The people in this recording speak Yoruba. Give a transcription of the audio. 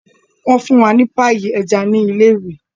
wọ fún wá ní Páyì eja ní ilé ìwé.